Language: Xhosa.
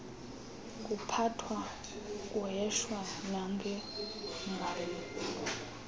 kuphathwa kuheshwa nangengalo